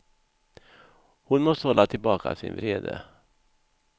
Hon måste hålla tillbaka sin vrede.